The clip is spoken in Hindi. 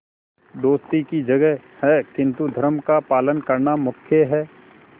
दोस्ती की जगह है किंतु धर्म का पालन करना मुख्य है